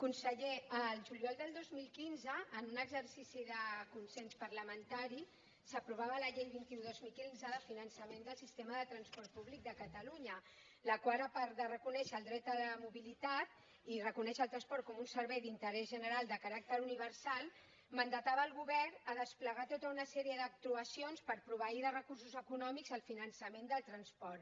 conseller el juliol del dos mil quinze en un exercici de consens parlamentari s’aprovava la llei vint un dos mil quinze de finançament del sistema de transport públic de catalunya la qual a part de reconèixer el dret a la mobilitat i reconèixer el transport com un servei d’interès general de caràcter universal mandatava el govern a desplegar tota una sèrie d’actuacions per proveir de recursos econòmics el finançament del transport